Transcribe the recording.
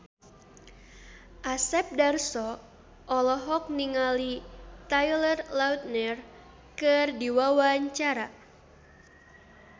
Asep Darso olohok ningali Taylor Lautner keur diwawancara